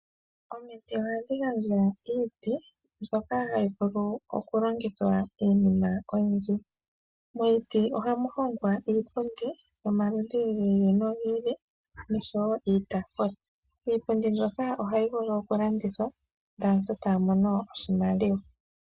Omiti ohadhi gandja iiti mbyoka hayi vulu oku longithwa iinima oyindji, momiti ohamu hongwa iipundi yomaludhi gi ili no ili noshowo iitaafula. Iipundi mbyoka oha yi vulu oku landithwa, ndele aantu taya mono oshimaliwa.